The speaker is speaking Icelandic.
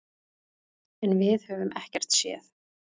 En við höfum ekkert séð.